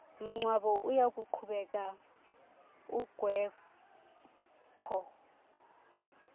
mngcwabo uyakuqhubeka ungekho